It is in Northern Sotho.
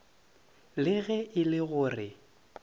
le ge e le gore